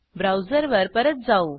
ब्राऊजरवर परत जाऊ